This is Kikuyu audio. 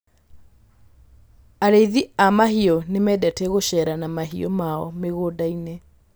Arĩithi a mahiũ nĩ mendete gũceera na mahiũ mao mĩgũnda-inĩ.